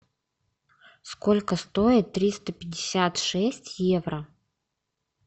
сколько стоит триста пятьдесят шесть евро